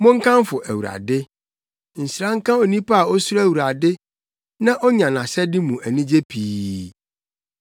Monkamfo Awurade. Nhyira nka onipa a osuro Awurade na onya nʼahyɛde mu anigye pii.